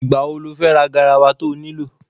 Ìgbà wo lo fẹ́ ra garawa to nílò?